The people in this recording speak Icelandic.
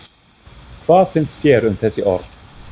Hvað finnst þér um þessi orð?